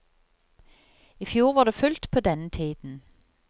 I fjor var det fullt på denne tiden.